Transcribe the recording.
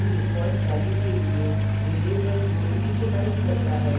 यह उनकी default values के लिए variables को इनिशीलाइज करता है